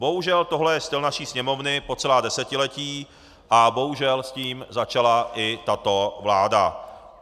Bohužel toto je styl naší Sněmovny po celá desetiletí a bohužel s tím začala i tato vláda.